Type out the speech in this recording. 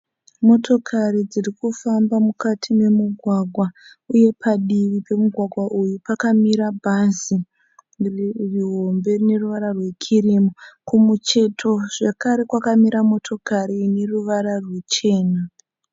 Motokari dziri kufamba mukati memugwagwa uye padivi pemugwagwa uyu pakamira bhazi rihombe rine ruvara rwekirimu. Kumucheto zvekare kwakamira motokari ine ruvara rwuchena.